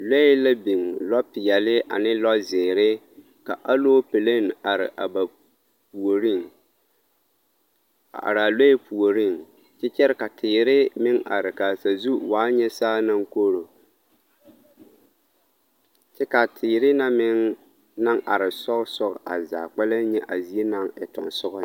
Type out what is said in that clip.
Lɔɛ la biŋ lɔ peɛle ane lɔ zeere ka aloopɛlee are a ba puoriŋ a araa lɔɛ puoriŋ kyɛ kyɛre ka teere meŋ are ka sazu waa nyɛ saa naŋ koro kyɛ kaa teere na meŋ naŋ are sɔɔsɔɔ a zaa kpɛlɛŋ nyɛ a zie naŋ e teŋsɔgɔ nyɛ.